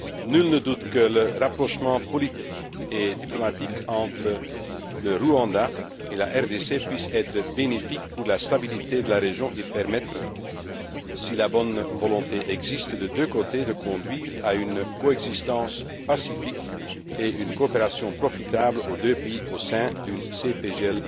Nul ne doute que le rapprochement politique et diplomatique entre le Rwanda et la RDC puisse être bénéfique pour la stabilité de la région et permettre, si la volonté existe de deux cotés, de conduire à une coexistence pacifique et à une coopération profitable aux deux pays au sein d'une CEPGL